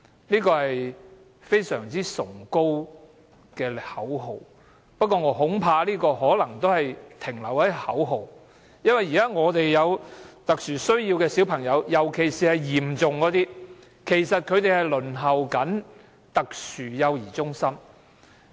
"零輪候"是非常崇高的口號，但我恐怕可能只是停留在口號，因為現時有特殊需要的小朋友，尤其是情況嚴重的，其實仍在輪候特殊幼兒中心。